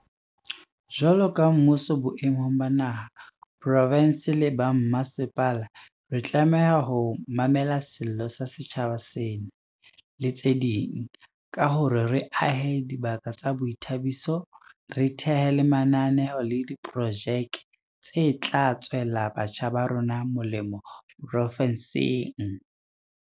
Jwalo ka mmuso boemong ba naha, profinse le ba mmasepala, re tlameha ho mamela sello sa setjhaba sena, le tse ding, ka hore re ahe dibaka tsa boithabiso, re thehe le mananeo le diprojeke tse tla tswela batjha ba rona molemo profinseng.